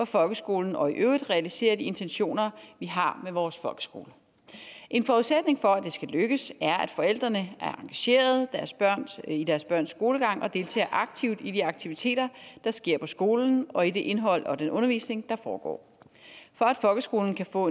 folkeskolen og i øvrigt realisere de intentioner vi har med vores folkeskole en forudsætning for at det skal lykkes er at forældrene er engagerede i deres børns skolegang og deltager aktivt i de aktiviteter der sker på skolen og i det indhold og den undervisning der foregår for at folkeskolen kan få